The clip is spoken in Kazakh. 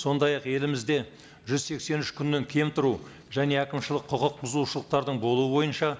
сондай ақ елімізде жүз сексен үш күннен кем тұру және әкімшілік құқық бұзушылықтардың болуы бойынша